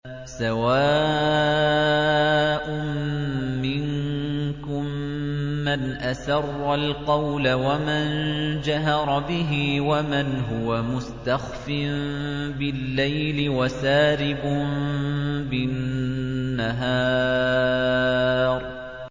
سَوَاءٌ مِّنكُم مَّنْ أَسَرَّ الْقَوْلَ وَمَن جَهَرَ بِهِ وَمَنْ هُوَ مُسْتَخْفٍ بِاللَّيْلِ وَسَارِبٌ بِالنَّهَارِ